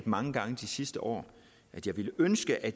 mange gange de sidste år at jeg ville ønske at